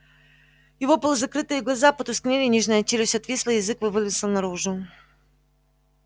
его полузакрытые глаза потускнели нижняя челюсть отвисла язык вывалился наружу